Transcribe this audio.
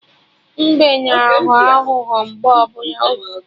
Mbe na aghọ aghụghọ oge ọbụla